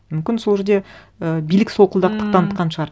мүмкін сол жерде і билік солқылдақтық танытқан шығар